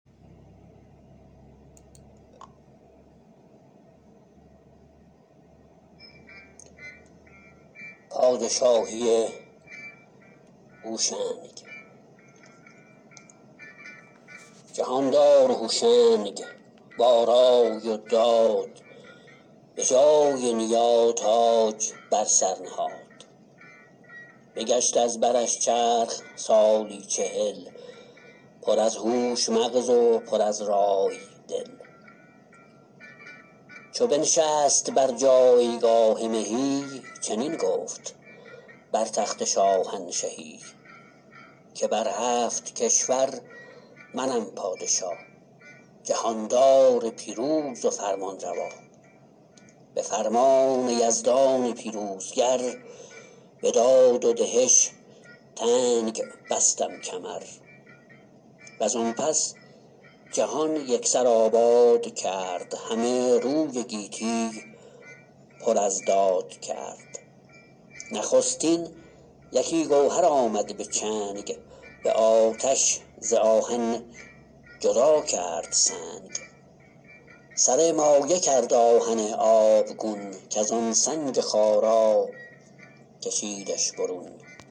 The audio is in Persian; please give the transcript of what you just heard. جهاندار هوشنگ با رای و داد به جای نیا تاج بر سر نهاد بگشت از برش چرخ سالی چهل پر از هوش مغز و پر از رای دل چو بنشست بر جایگاه مهی چنین گفت بر تخت شاهنشهی که بر هفت کشور منم پادشا جهاندار پیروز و فرمانروا به فرمان یزدان پیروزگر به داد و دهش تنگ بستم کمر و زان پس جهان یک سر آباد کرد همه روی گیتی پر از داد کرد نخستین یکی گوهر آمد به چنگ به آتش ز آهن جدا کرد سنگ سر مایه کرد آهن آبگون کز آن سنگ خارا کشیدش برون